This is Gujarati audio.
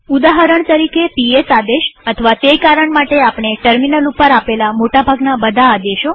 ઉદાહરણ તરીકે પીએસ આદેશ અથવા તે કારણ માટે આપણે ટર્મિનલ ઉપર આપેલ મોટા ભાગના બધા આદેશો